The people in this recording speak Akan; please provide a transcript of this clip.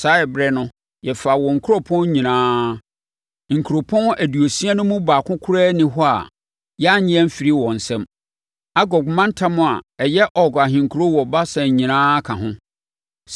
Saa ɛberɛ no, yɛfaa wɔn nkuropɔn nyinaa. Nkuropɔn aduosia no mu baako koraa nni hɔ a yɛannye amfiri wɔn nsam. Argob mantam a ɛyɛ Og ahenkuro wɔ Basan nyinaa ka ho.